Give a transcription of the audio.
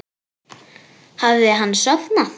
Hafði hann sofnað?